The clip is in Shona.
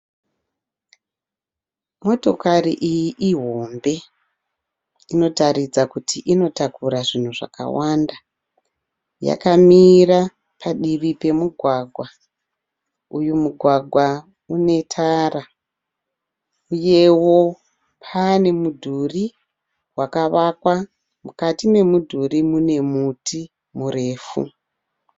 Motokari iyi ihombe inotaridza kuti inotakura zvinhu zvakawanda yakamira padivi pemugwagwa, uyu mugwagwa une tara uyewo pane mudhuri wakavakwa, mukati memudhuri mune muti murefu.